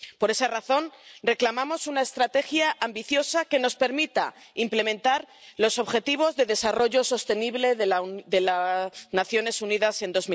Por esa razón, reclamamos una estrategia ambiciosa que nos permita implementar los Objetivos de Desarrollo Sostenible de las Naciones Unidas en